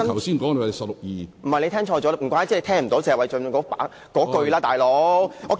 主席，你聽錯了，難怪你聽不到謝偉俊議員的說話。